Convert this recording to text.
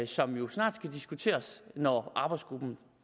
som jo snart skal diskuteres når arbejdsgruppens